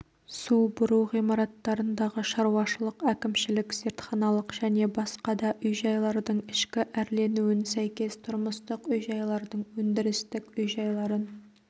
су бұру ғимараттарындағы шаруашылық әкімшілік зертханалық және басқа да үй-жайлардың ішкі әрленуін сәйкес тұрмыстық үй-жайлардың өндірістік үй-жайларын